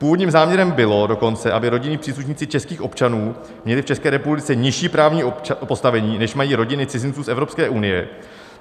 Původním záměrem bylo dokonce, aby rodinní příslušníci českých občanů měli v České republice nižší právní postavení, než mají rodiny cizinců z Evropské unie.